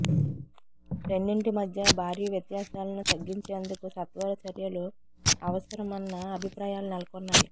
రెండింటి మధ్య భారీ వ్యత్యాసాలను తగ్గించేందుకు సత్వర చర్యలు అవసరమన్న అభిప్రాయాలు నెలకొన్నాయి